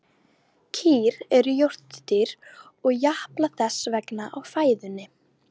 Kýr eru jórturdýr og japla þess vegna á fæðunni.